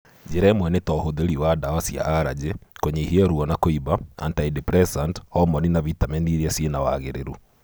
Njĩra imwe nĩ ta ũhũthĩri wa ndawa cia arajĩ, kũnyihia ruo na kũimba, antideprecant, homoni na vitameni iria cina wagĩrĩru